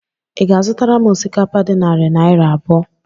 Ị ga-azụtara m osikapa dị narị naira abụọ?